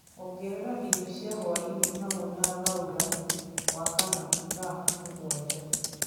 ongerera irio cia hwaĩ-inĩ hamwe na Laura wa kana thaa mũgwanja